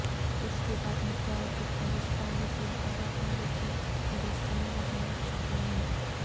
اس کے بعد متعدد ہندوستانی فلم اداکاروں کے مجسمے وہاں لگ چکے ہیں